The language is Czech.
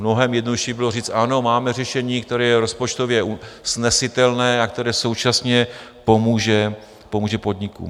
Mnohem jednodušší bylo říct ano, máme řešení, které je rozpočtově snesitelné a které současně pomůže podnikům.